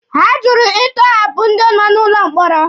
Ha jụrụ ịtọhapụ ndị nọ n'ụlọ mkpọrọ.